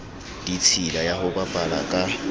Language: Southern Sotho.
ditshila ya ho bapala ka